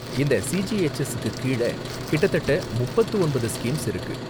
இந்த சிஜிஹெச்எஸ் க்கு கீழ கிட்டத்தட்ட முப்பத்து ஒன்பது ஸ்கீம்ஸ் இருக்கு